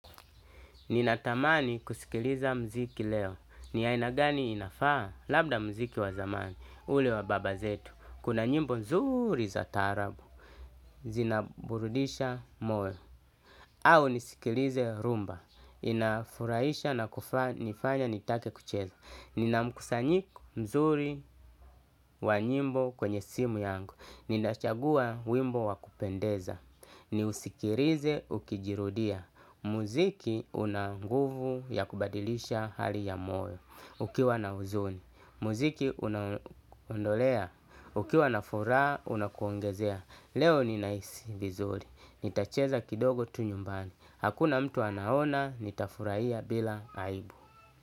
Ninatamani kusikiliza muziki leo. Ni aina gani inafaa? Labda muziki wa zamani. Ule wa baba zetu. Kuna nyimbo nzuri za taarabu. Zinaburudisha moyo. Au nisikilize rumba. Inafurahisha na kunifanya nitake kucheza. Nina mkusanyiko nzuri wa nyimbo kwenye simu yangu. Ninachagua wimbo wa kupendeza. Niusikilize ukijirudia. Muziki una nguvu ya kubadilisha hali ya moyo ukiwa na huzuni. Muziki unaondolea ukiwa na furaha, unakuongezea. Leo ninahisi vizuri. Nitacheza kidogo tu nyumbani. Hakuna mtu anaona, nitafurahia bila aibu.